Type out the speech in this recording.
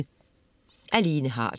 Af Lene Harder